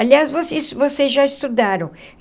Aliás, vocês vocês já estudaram?